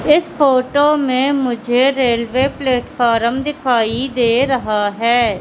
इस फोटो में मुझे रेलवे प्लेटफार्म दिखाई दे रहा है।